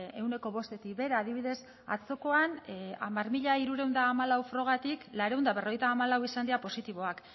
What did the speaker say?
ehuneko bostetik behera adibidez atzokoan hamar mila hirurehun eta hamalau probatik laurehun eta berrogeita hamalau izan dira positiboak